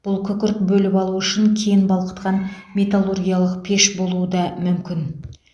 бұл күкірт бөліп алу үшін кен балқытқан металлургиялық пеш болуы да мүмкін